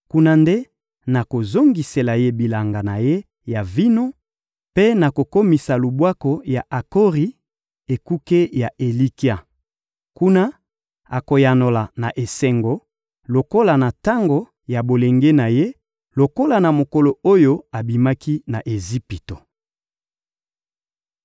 Kuna nde nakozongisela ye bilanga na ye ya vino mpe nakokomisa Lubwaku ya Akori ekuke ya elikya. Kuna, akoyanola na esengo lokola na tango ya bolenge na ye, lokola na mokolo oyo abimaki na Ejipito.